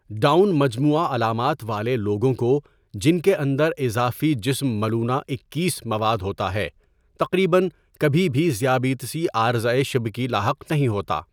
Down مجموعہ علامات والے لوگوں کو، جن کے اندر اضافی جسم ملونہ اکیس مواد ہوتا ہے، تقریباً کبھی بھی ذیابیطسی عارضۂ شبکی لاحق نہیں ہوتا۔